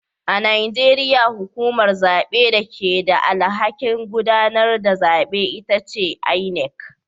A Najeriya hukumar zabe da ke da alhakin gudanar da zabe ita ce inec